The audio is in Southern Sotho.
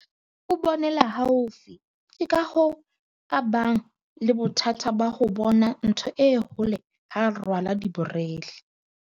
o bonela haufi ke ka hoo a bang le bothata ba ho bona ntho e hole ha a sa rwala diborele